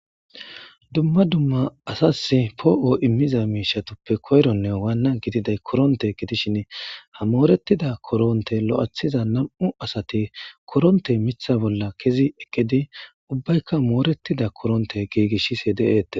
dumma dumma asas poo7o immiza miishatoppe koyronne waanna gididay koronte gidishin hamoorettida koronte lo7athiza nam7u asati koronte mitha bolla kezi ekedi ubbaykka mooretida koronte giigishise de7eettes